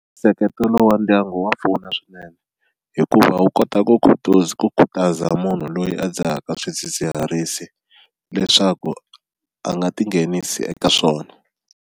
Nseketelo wa ndyangu wa pfuna swinene hikuva wu kota ku khutuza ku khutaza munhu loyi a dzahaka swidzidziharisi leswaku a nga tinghenisi eka swona.